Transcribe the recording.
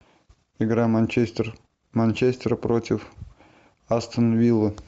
игра манчестер манчестер против астон виллы